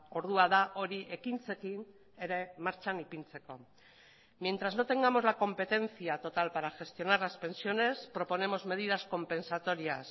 ordua da hori ekintzekin ere martxan ipintzeko mientras no tengamos la competencia total para gestionar las pensiones proponemos medidas compensatorias